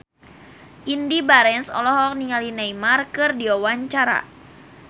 Indy Barens olohok ningali Neymar keur diwawancara